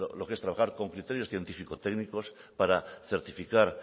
lo que es trabajar con criterios científico técnicos para certificar